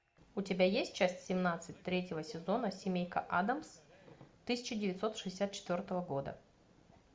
у тебя есть часть семнадцать третьего сезона семейка адамс тысяча девятьсот шестьдесят четвертого года